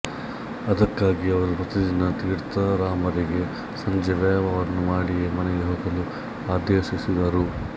ಅದಕ್ಕಾಗಿ ಅವರು ಪ್ರತಿದಿನ ತೀರ್ಥರಾಮರಿಗೆ ಸಂಜೆ ವ್ಯಾಯಾಮವನ್ನು ಮಾಡಿಯೇ ಮನೆಗೆ ಹೋಗಲು ಆದೇಶಿಸಿದರು